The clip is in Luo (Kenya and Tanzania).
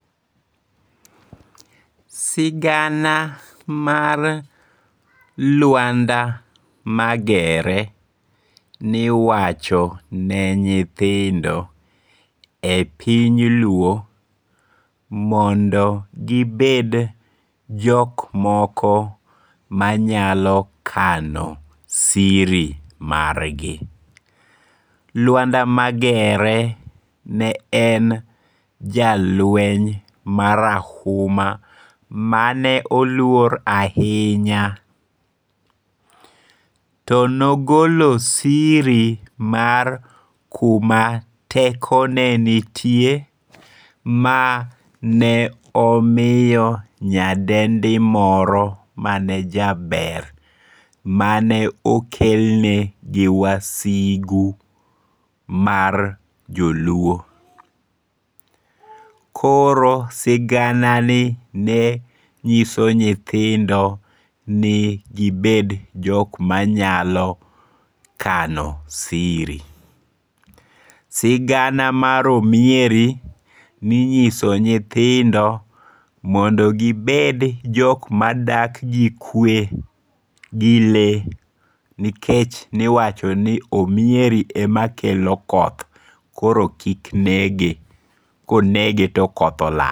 Sigana mar Luanda Magere ni wachone nyithindo e piny luo mondo gibed jok moko manyalo kano siri margi, Luanda Magere ne en jalueny marahuma mane oluor ahinya, tonogolo siri mar kuma tekone nitie ma ne omiyo nyadendi moro mane jaber, mane okelne gi wasigu mar joluo, koro siganani ne nyiso nyithindo ni gibed jok ma nyalo kano siri, sigana mar omieri ne inyiso nyithindo mondo gi med jok ma dak gi kwe gi lee nikech niwacho ni omweri ema kelo koth koro kik nege konege to koth olal.